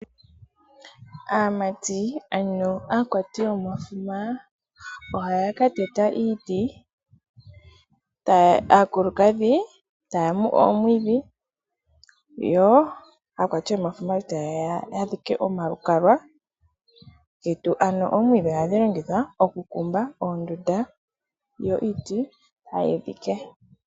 Aamati ano aakwati yomafuma ohaa ka teta iiti. Aakulukadhi taa mu omwiidhi yo aakwati yomafuma tayeya yadhike omalukalwa getu. Ano omwiidhi ohadhi longithwa oku kumba oondunda. Yo iiti tayi dhike.